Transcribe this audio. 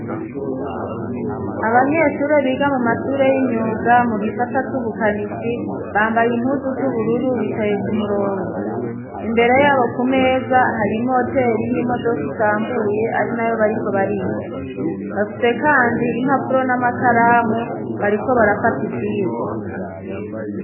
Abanyeshuri biga mu mashure y'imyuga mu gisata c'ubukanishi bambaye impuzu z'ubururu bicaye ku murongo imbere yabo ku meza hari moteri y'imodoka isambuye ari nayo bariko bariga bafise kandi impapuro n'amakaramu bariko barafata ivyigwa.